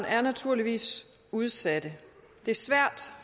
er naturligvis udsatte det er svært